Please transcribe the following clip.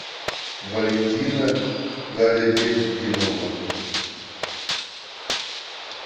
валентина галеветдинова